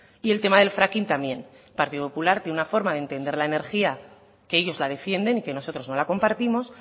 y el tema del fracking también el partido popular tiene una forma de entender la energía que ellos la defienden y que nosotros no la compartimos